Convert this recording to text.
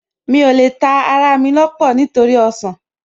Mi ò lè ta ará mi lọ́pọ̀ nítorí ọsàn